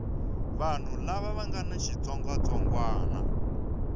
vanhu lava nga na xitsongwatsongwana